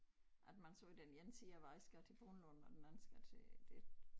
At man så vil den ene sige at jeg skal til Brundlund og den anden skal til det